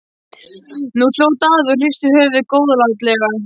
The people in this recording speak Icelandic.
Nú hló Daði og hristi höfuðið góðlátlega.